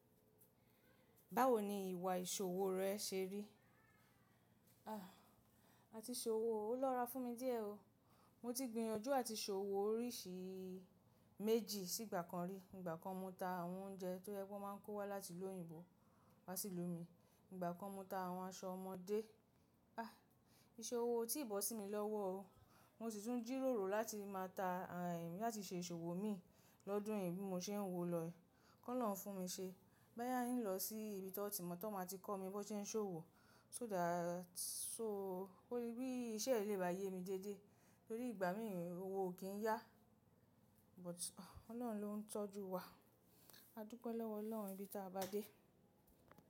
Báwo ni ìwà ìṣòwò rẹ ṣe rí? Àti ṣòwò ò lọ́ra fún mi díẹ̀ o. Mo ti gbìyànjú àti ṣòwò oríṣi méjì sí ìgbà kan rí. Ìgbà kan mo ta àwọn oúnjẹ tó yẹ pé won má ń kó wá láti lóyìnbó wá sí ìlú mi. Ìgbà kan mo ta àwọn aṣọ ọmọdé. Iṣòwò ó tí bọ́ sí mi lọ́wọ́ o. Mo sì tún jìròrò láti máa ta à láti ṣe ìṣòwò mi lọ́dún yìí bí mo ṣe ń wò lọ. Kọ́ lọ́hun fún mi ṣe. Boya n lọ sí ibi tó ti ma tó máa ti kọ́ mi bó se ń ṣòwò. So dá so ó rí bí iṣẹ́ yìí lè bá yé mi déédéé torí ìgbà mìíràn owó ò kí ń yá. But Ọlọ́run ló ń tọ́jú wa. A dúpẹ́ lọ́wọ́ Ọlọ́run ibi tí a bá dé.